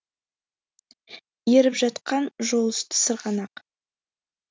еріп жатқан жол үсті сырғанақ